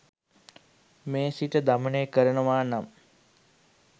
මේ සිත දමනය කරනවා නම්